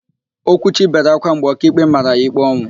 Okwuchi bere ákwá mgbe ọkaikpe mara ya ikpe ọnwụ.